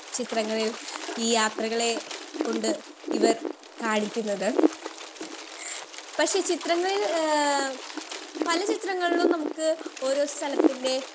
speaker 2 ചിത്രങ്ങളിൽ ഈ യാത്രകളെ കൊണ്ട് ഇവർ കാണിക്കുന്നത്.പക്ഷെ ചിത്രങ്ങളിൽ ഏഹ് പല വിധങ്ങളിലും നമ്മുക്ക് ഓരോ സ്ഥലതിന്റേം